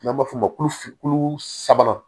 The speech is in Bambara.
N'an b'a f'o ma ko f kulu sabanan